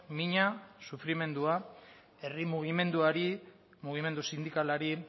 mina sufrimendua herri mugimenduari mugimendu sindikalari